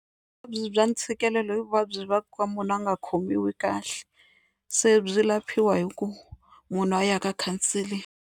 Vuvabyi bya ntshikelelo i vuvabyi bya ku va munhu a nga khomiwi kahle se byi laphiwa hi ku munhu a ya ka counseling.